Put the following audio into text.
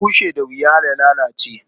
Idan kifi bushe da wuya ya lalace.